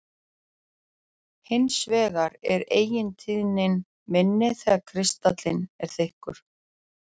Hins vegar er eigintíðnin minni þegar kristallinn er þykkur.